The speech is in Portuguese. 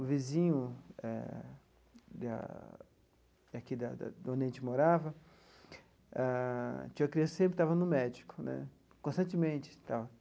O vizinho eh, da aqui da da de onde a gente morava ah, tinha uma criança que sempre estava no médico né, constantemente tal.